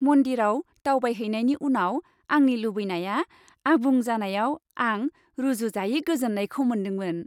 मन्दिराव दावबायहैनायनि उनाव आंनि लुबैनाया आबुं जानायाव आं रुजुजायै गोजोननायखौ मोनदांदोंमोन।